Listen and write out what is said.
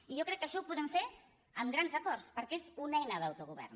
i jo crec que això ho podem fer amb grans acords perquè és una eina d’autogovern